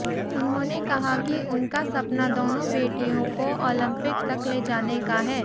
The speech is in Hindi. उन्होंने कहा कि उनका सपना दोनों बेटियों को ओलंपिक तक ले जाने का है